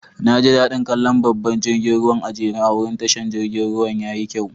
Na ji da'din kalla babban jirigin ruwan a'jere a'wurin tashar jirigin ruwan. Yayi kyau.